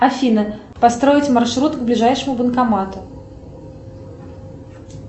афина построить маршрут к ближайшему банкомату